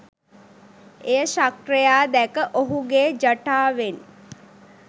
එය ශක්‍රයා දැක ඔහුගේ ජටාවෙන්